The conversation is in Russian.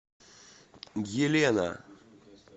гелена